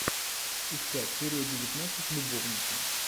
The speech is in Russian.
искать серия девятнадцать любовники